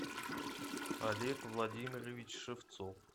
олег владимирович шевцов